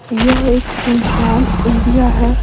यह एक सुनशान इंडिया है।